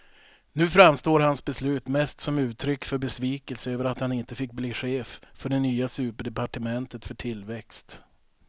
Nu framstår hans beslut mest som uttryck för besvikelse över att han inte fick bli chef för det nya superdepartementet för tillväxt.